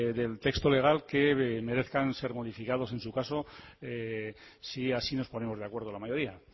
del texto legal que merezcan ser modificados en su caso si así nos ponemos de acuerdo la mayoría